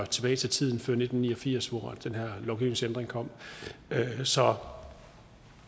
tilbage til tiden før nitten ni og firs hvor den her lovgivningsændring kom så